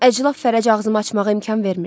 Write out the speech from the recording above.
Əclaf Fərəc ağzımı açmağa imkan vermirdi.